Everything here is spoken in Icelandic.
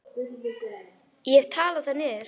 Ég hef talað það niður.